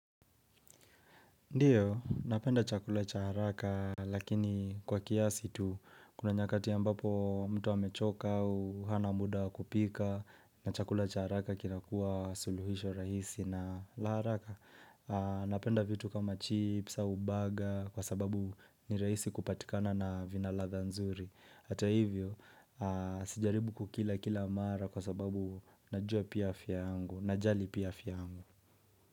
Ndiyo, napenda chakula cha haraka lakini kwa kiasi tu kuna nyakati ambapo mtu hamechoka au hana muda kupika na chakula cha haraka kilakua suluhisho rahisi na la haraka. Napenda vitu kama chips au baga kwa sababu ni rahisi kupatikana na vinaladha nzuri. Hata hivyo, sijaribu kukila kila mara kwa sababu najua pia afya angu, najali pia afya yangu.